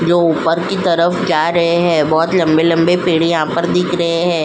जो ऊपर की तरफ जा रहे हैं बहुत लंबे-लंबे पेड़ यहां पर दिख रहे हैं।